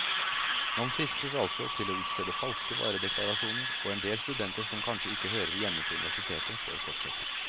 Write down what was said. Man fristes altså til å utstede falske varedeklarasjoner, og endel studenter som kanskje ikke hører hjemme på universitetet, får fortsette.